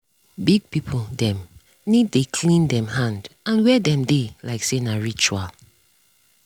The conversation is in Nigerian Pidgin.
big people dem need dey clean dem hand and where dem dey like say na ritual.